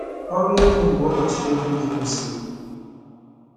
Ọrụ Egwu Mgbe Ụbọchị Devid gasịrị